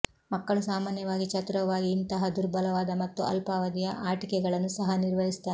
ಮಕ್ಕಳು ಸಾಮಾನ್ಯವಾಗಿ ಚತುರವಾಗಿ ಇಂತಹ ದುರ್ಬಲವಾದ ಮತ್ತು ಅಲ್ಪಾವಧಿಯ ಆಟಿಕೆಗಳನ್ನು ಸಹ ನಿರ್ವಹಿಸುತ್ತಾರೆ